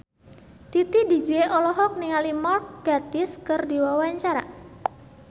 Titi DJ olohok ningali Mark Gatiss keur diwawancara